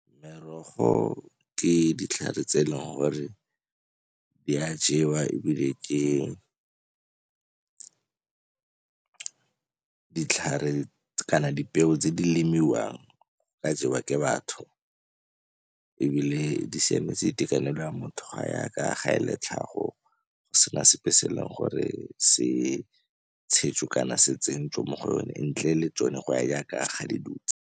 Merogo ke ditlhare tse e leng gore di a jewa ebile ke ditlhare kana dipeo tse di lemiwang ka jewa ke batho. Ebile di siametse itekanelo ya motho ga yaaka ga e le tlhago go sena sepe se e leng gore se tshetswe kana se tsentswe mo go yone ntle le tsone go ya yaaka ga di dutse.